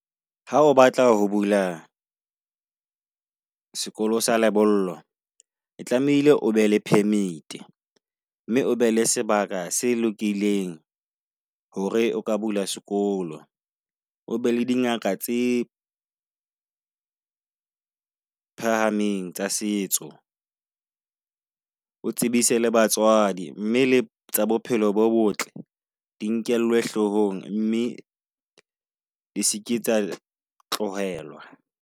Ha o batla ho bula , sekolo sa lebollo e tlamehile, o be le permit mme o be le sebaka se lokileng hore o ka bula sekolo. O be le dingaka tse phahameng tsa setso. O tsebise le batswadi mme le tsa bophelo bo botle di nkellwe hlohong, mme di seke tsa tlohelwa.